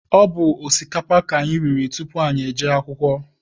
Ọ bụ osikapa ka anyị riri tupu anyị jee akwụkwọ.